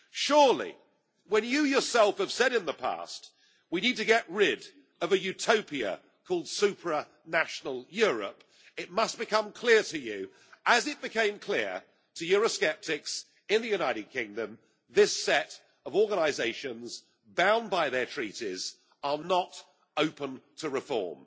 Surely, since you yourself have said in the past that we need to get rid of a utopia called supranational Europe, it must become clear to you as it became clear to eurosceptics in the United Kingdom that this set of organisations, bound by their Treaties, are not open to reform.